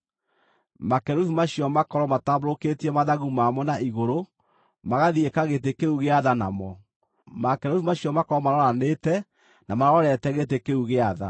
Makerubi macio makorwo matambũrũkĩtie mathagu mamo na igũrũ, magathiĩka gĩtĩ kĩu gĩa tha namo. Makerubi macio makorwo maroranĩte, na marorete gĩtĩ kĩu gĩa tha.